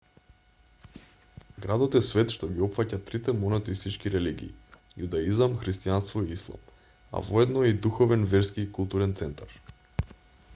градот е свет што ги опфаќа трите монотеистички религии јудаизам христијанство и ислам а воедно е и духовен верски и културен центар